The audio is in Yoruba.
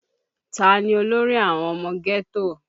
Ta ni olórí àwọn ọmọ ghetto?